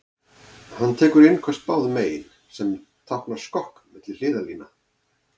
Hann tekur innköst báðum megin, sem táknar skokk milli hliðarlína.